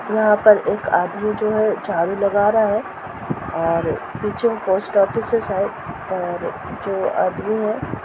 यहां पर एक आदमी जो है झाड़ू लगा रहा है और पीछे में पोस्ट ऑफिस है शायद और जो आदमी है --